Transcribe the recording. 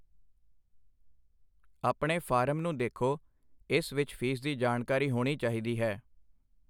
ਆਪਣੇ ਫਾਰਮ ਨੂੰ ਦੇਖੋ, ਇਸ ਵਿੱਚ ਫੀਸ ਦੀ ਜਾਣਕਾਰੀ ਹੋਣੀ ਚਾਹੀਦੀ ਹੈ।